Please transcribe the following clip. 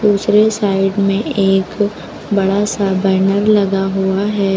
दूसरे साइड में एक बड़ा सा बैनर लगा हुआ है।